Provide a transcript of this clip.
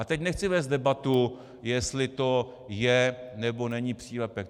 A teď nechci vést debatu, jestli to je, nebo není přílepek.